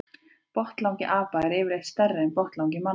Botnlangi apa er yfirleitt stærri en botnlangi manna.